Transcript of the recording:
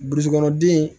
Burusi kɔnɔ den